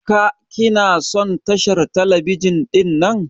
Ka/ki na son tashar telebijin dinnan?